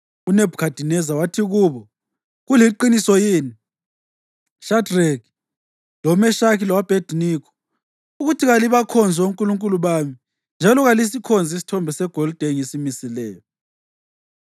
uNebhukhadineza wathi kubo, “Kuliqiniso yini, Shadreki, loMeshaki lo-Abhediniko, ukuthi kalibakhonzi onkulunkulu bami njalo kalisikhonzi isithombe segolide engisimisileyo?